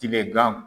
Tilegan